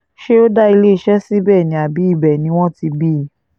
ṣé ó dá iléeṣẹ́ síbẹ̀ ni àbí ibẹ̀ ni wọ́n ti bí i